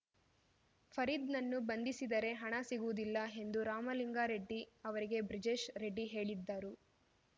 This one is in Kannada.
ಫರೀದ್‌ನನ್ನು ಬಂಧಿಸಿದರೆ ಹಣ ಸಿಗುವುದಿಲ್ಲ ಎಂದು ರಾಮಲಿಂಗಾ ರೆಡ್ಡಿ ಅವರಿಗೆ ಬ್ರಿಜೇಶ್‌ ರೆಡ್ಡಿ ಹೇಳಿದ್ದರು